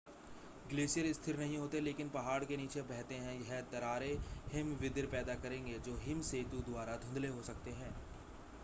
glacier स्थिर नहीं होते लेकिन पहाड़ के नीचे बहते है यह दरारें हिमविदर पैदा करेंगे जो हिम सेतु द्वारा धुंधले हो सकते हैं